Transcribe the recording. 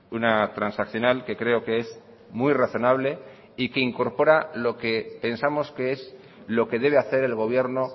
una transaccional que creo que es muy razonable y que incorpora lo que pensamos que es lo que debe hacer el gobierno